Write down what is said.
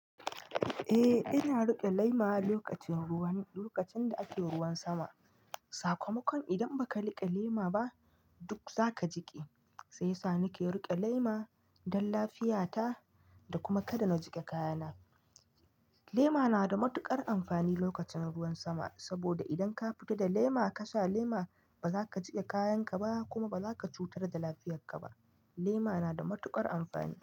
Eh ina riƙe lema lokacin ruwan-- lokacin da ake ruwan sama. Sakamakon idan ba ka riƙe lema ba duk za ka jiƙe. Sai yasa nike riƙe lema don lafiyata da kuma kada na jiƙe kayana. Lema na da matuƙar amfani lokacin ruwan sama. Saboda idan ka fita da lema ka sha lema ba za ka jiƙe kayanka ba kuma ba za ka cutar da lafiyarka ba. Lema na da matuƙar amfani.